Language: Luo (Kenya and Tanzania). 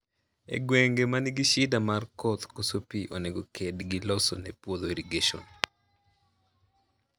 E gwenge ma nigi shida mar koth, koso pii onego ked gi loso ne puodho irrigation.